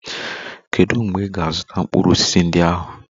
Kedu mgbe ị ga-azụta mkpụrụ osisi ndị ahụ?